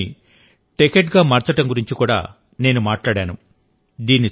ఈ దశాబ్దాన్ని టెకేడ్ గా మార్చడం గురించి కూడా నేను మాట్లాడాను